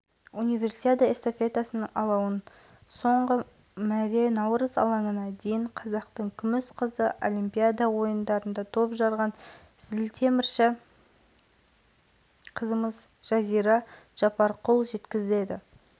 алаугерлер қаланың орталық көшелерімен жүгіріп отырып наурыз алаңына дейін барды қашықтық шақырым жолай алаушыларға қолдау білдіріп